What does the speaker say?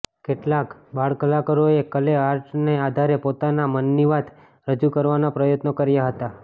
કેટળાક બાળકલાકરોએ ક્લે આર્ટના આધારે પોતાના મનની વાત રજુ કરવાના પ્રયત્નો કર્યા હતા